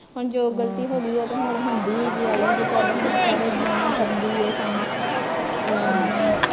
ਹੁਣ ਜੋ ਗਲਤੀ ਹੋਗੀ ਐ ਹੁਣ ਹੁੰਦੀ ਈ ਆਈ ਜੇ ਚੱਲ ਸਾਰੇ ਦੁਨੀਆ ਕਰਨ ਡਈ ਏਹ ਕੰਮ